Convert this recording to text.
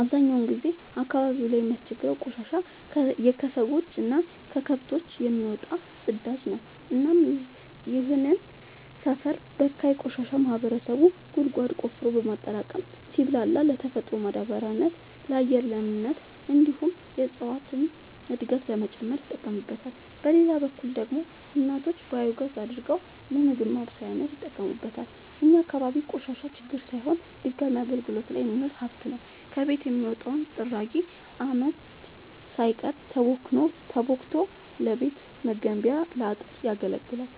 አብዛኛውን ጊዜ አካባቢው ላይ የሚያስቸግረው ቆሻሻ የከሰዎች እና ከከብቶች የሚወጣው ፅዳጅ ነው እናም ይህንን ሰፈር በካይ ቆሻሻ ማህበረሰቡ ጉድጓድ ቆፍሮ በማጠራቀም ሲብላላ ለተፈጥሯዊ ማዳበሪያነት ለአፈር ለምነት እንዲሁም የእፀዋትን እድገት ለመጨመር ይጠቀምበታል። በሌላ በኩል ደግሞ እናቶች ባዮጋዝ አድርገው ለምግብ ማብሰያነት ይጠቀሙበታል። እኛ አካባቢ ቆሻሻ ችግር ሳይሆን ድጋሚ አገልግት ላይ የሚውል ሀብት ነው። ከቤት የሚወጣው ጥራጊ አመድ ሳይቀር ተቦክቶ ለቤት መገንቢያ ለአጥር ያገለግላል።